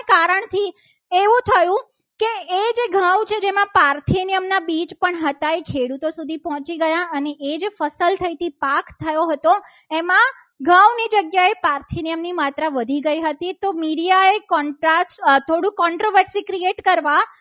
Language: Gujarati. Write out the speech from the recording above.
એમાં પારથી નિયમના બીજ પણ હતા. જે ખેડૂતો સુધી પહોંચી ગયા. અને એ જ ફસલ થઈ હતી. પાક થયો હતો. એમાં ઘઉં ની જગ્યાએ પાર્થિનિયમની માત્રા વધી ગઈ હતી. તો media એ create કરવા ત્યારે